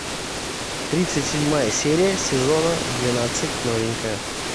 тридцать седьмая серия сезона двенадцать новенькая